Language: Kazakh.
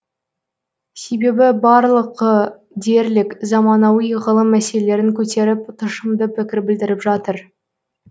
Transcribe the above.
себебі барлығы дерлік заманауи ғылым мәселелерін көтеріп тұшымды пікір білдіріп жатыр